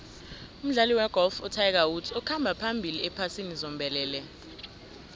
umdlali wegolf utiger woods ukhamba phambili ephasini zombelele